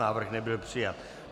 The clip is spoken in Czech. Návrh nebyl přijat.